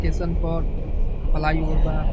Station पर बा।